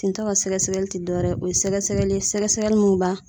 Tintɔ ka sɛgɛsɛgɛli ti dɔ wɛrɛ, o ye sɛgɛsɛgɛli ye sɛgɛsɛgɛli mun b'a